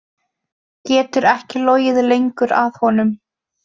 Getur ekki logið lengur að honum.